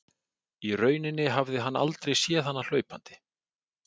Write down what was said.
Í rauninni hafði hann aldrei séð hana hlaupandi.